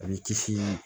A b'i kisi